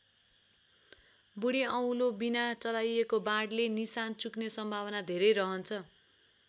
बूढी औँलोविना चलाइएको वाणले निशाना चुक्ने सम्भावना धेरै रहन्छ।